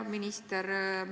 Hea minister!